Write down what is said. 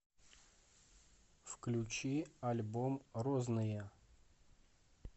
включи альбом розныя